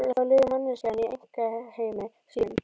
Jafnvel þá lifir manneskjan í einkaheimi sínum.